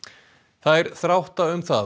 þær þrátta um það